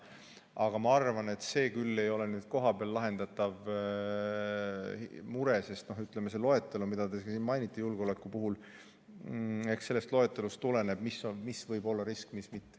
Aga ma arvan, et see küll ei ole kohapeal lahendatav mure, sest, ütleme, eks sellest loetelust, mida siin juba mainiti, julgeoleku puhul, tuleneb, mis võib olla risk ja mis mitte.